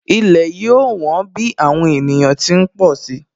Ilẹ̀ yóò wón bí àwọn ènìyàn ti ń pọ̀ si